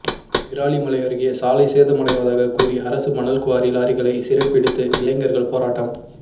விராலிமலை அருகே சாலை சேதமடைவதாக கூறிஅரசு மணல்குவாரி லாரிகளை சிறைபிடித்து இளைஞா்கள் போராட்டம்